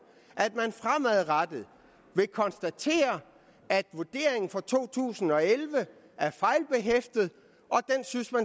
at man fremadrettet vil konstatere at vurderingen for to tusind og elleve er fejlbehæftet og